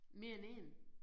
Mere end én?